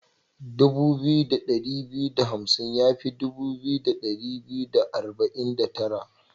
Dubu biyu da dari biyu da hamsin ya fi dubu biyu da dari biyu da arba'in da tara.